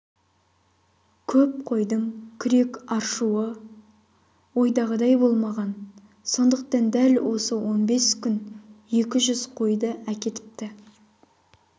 көп қойдың күрек аршуы ойдағыдай болмаған сондықтан дәл осы он бес күн екі жүз қойды әкетіпті